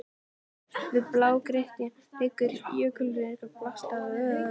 Mislægt á blágrýtinu liggur jökulruðningur blandaður sjávarseti.